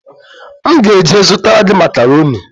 M ga-eje zụtara gị makaroni